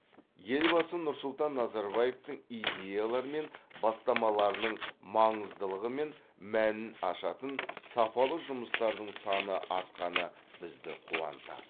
елбасы нұрсұлтан назарбаевтың идеялары мен бастамаларының маңыздылығы мен мәнін ашатын сапалы жұмыстардың саны артқаны бізді қуантады